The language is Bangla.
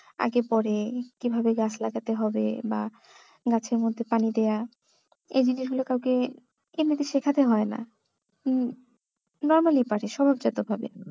আগে পরে কিভাবে গাছ লাগাতে হবে বা গাছের মধ্যে পানি দেওয়া এই জিনিসগুলো কাওকে এমনিতে শেখাতে হয় না হম normally পারে স্বভাবজত ভাবে